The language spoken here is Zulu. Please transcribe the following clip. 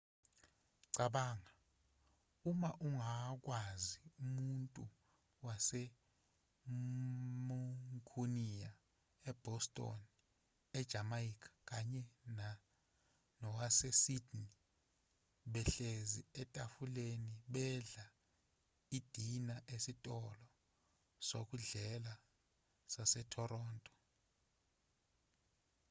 cabanga uma ungakwazi umuntu wase-muncunia e-boston e-jamaica kanye nowase-sydney behlezi etafuleni bedla idina esitolo sokudlela sase-toronto